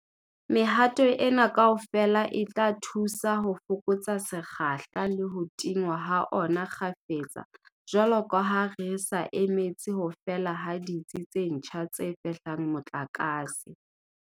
Mehato ena kaofela e tla thusa ho fokotsa sekgahla le ho tingwa ha ona kgafetsa jwalo ka ha re sa emetse ho fela ha ditsi tse ntjha tse fehlang motlakase.